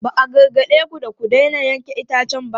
Ba a gargade ku da ku daina yanke itacen ba?